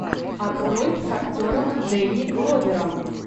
открой с актером дэнни гловером